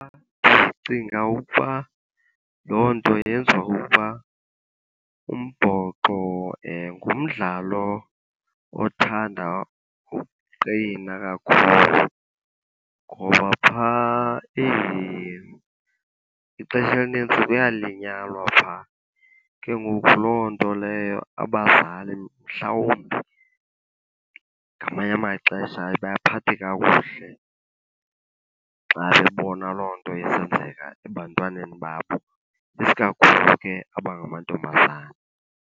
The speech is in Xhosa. Ndicinga ukuba loo nto yenziwa kukuba umbhoxo ngumdlalo othanda ukuqina kakhulu, ngoba phaa ixesha elinintsi kuyalinyalwa phaa. Ke ngoku loo nto leyo abazali mhlawumbi ngamanye amaxesha ayibaphathi kakuhle xa sebebona loo nto isenzeka ebantwaneni babo, isikakhulu ke abangamantombazana.